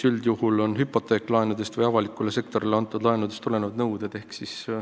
Üldjuhul on need hüpoteeklaenudest või avalikule sektorile antud laenudest tulenevad nõuded.